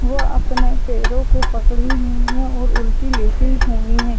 वो अपने पैरो को पकड़ी हुई हैं और उल्टी लेटी हुई हैं।